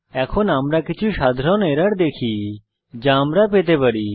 এখন আমরা কিছু সাধারণ এরর দেখি যা আমরা পেতে পারি